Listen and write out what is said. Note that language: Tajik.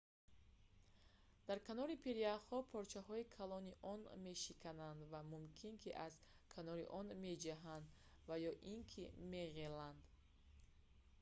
дар канори пиряхҳо порчаҳои калони он мешикананд ва мумкин ки аз канори он меҷаҳанд ва ё ин ки меғеланд